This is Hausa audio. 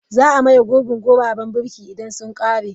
Za a maye gurbin guraben birki idan sun ƙare.